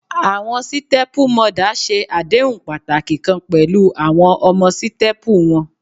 Awọn sítẹ́pú mọdà ṣe adehun pataki kan pẹlu awọn ọmọ sítẹ́pú wọn.